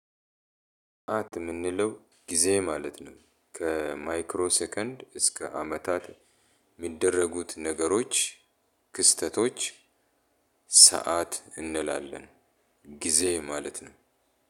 ሰዓት የምንለው ጊዜ ማለት ነው። ከማይክሮ ሰከንድ እስከ አመታት የሚደረጉት ነገሮች ክስተቶች ሰዓት እንላለን። ጊዜ ማለት ነው።